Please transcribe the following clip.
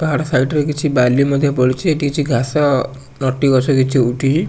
ପାହାଡ ସାଇଡ ର କିଛି ବାଲି ମଧ୍ଯ ପଡିଛି ଏ କିଛି ଘାସ ନଟି ଗଛ କିଛି ଉଠିଚି।